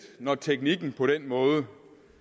når teknikken på den måde